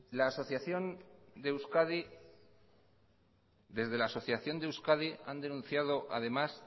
desde la asociación de euskadi han denunciado además